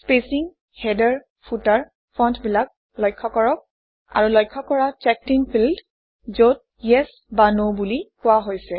spacing header footer ফণ্টবিলাক লক্ষ্য কৰক আৰু লক্ষ্য কৰা চেকডিন ফিল্ড যত ইএছ বা ন বুলি কোৱা হৈছে